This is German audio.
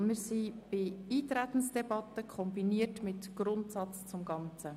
Wir sind in der Eintretensdebatte kombiniert mit dem Grundsatz zum Ganzen.